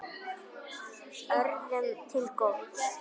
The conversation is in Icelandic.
Öðrum til góðs.